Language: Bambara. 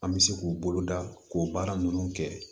An bɛ se k'u boloda k'o baara ninnu kɛ